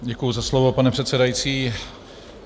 Děkuji za slovo, pane předsedající.